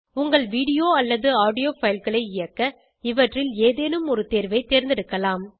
உங்கள் வீடியோ அல்லது ஆடியோ fileகளை இயக்க இவற்றில் ஏதேனும் ஒரு தேர்வை தேர்ந்தெடுக்கலாம்